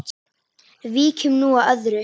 Víkjum nú að öðru.